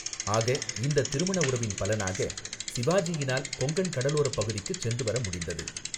ஆக, இந்தத் திருமண உறவின் பலனாக சிவாஜியினால் கொங்கன் கடலோரப் பகுதிக்குச் சென்றுவர முடிந்தது.